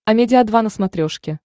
амедиа два на смотрешке